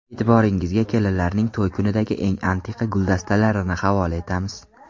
E’tiboringizga kelinlarning to‘y kunidagi eng antiqa guldastalarini havola etamiz.